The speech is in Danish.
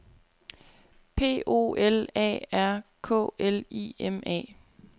P O L A R K L I M A